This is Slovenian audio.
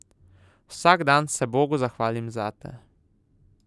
Vsak dan se bogu zahvalim zate.